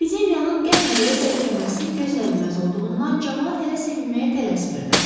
Epidemiyanın qəfil belə zəifləməsi gözlənilməz olduğundan camaat hələ sevinməyə tələsmirdi.